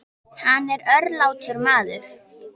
Hann var örlátur maður.